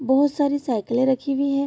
बहुत सारी साइकिलें रखी हुई है।